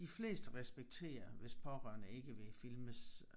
De fleste respekterer hvis pårørende ikke vil filmes